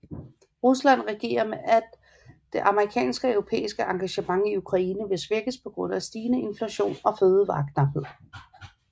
Rusland regner med at det amerikanske og europæiske engagement i Ukraine vil svækkes på grund af stigende inflation og fødevareknaphed